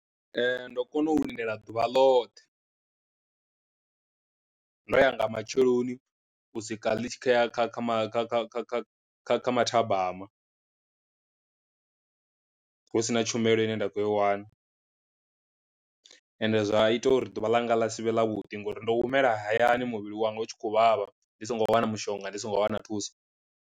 Ndo kona u lindela ḓuvha ḽoṱhe ndo ya nga matsheloni u swika ḽi tshi khou ya kha kha kha kha kha kha kha kha mathabama husina tshumelo ine nda khou i wana, ende zwa ita uri ḓuvha ḽanga ḽa sivhe ḽa vhuḓi ngori ndo humela hayani muvhili wanga u tshi khou vhavha ndi songo wana mushonga ndi songo wana thuso.